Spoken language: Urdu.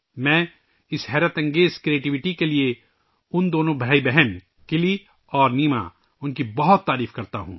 میں ان دونوں بھائی بہن کلی اور نیما کی اس شاندار تخلیقی صلاحیتوں کی بہت ستائش کرتا ہوں